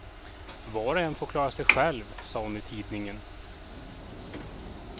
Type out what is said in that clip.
Var och en får klara sig själv, sa hon i tidningen.